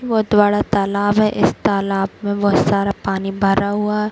बहोत बड़ा तालाब है इस तालाब में बहोत सारा पानी भरा हुआ --